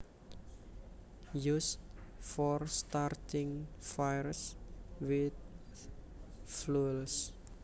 Used for starting fires with fuels